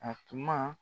A tuma